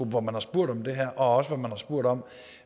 hvor man har spurgt om det her og hvor man også har spurgt om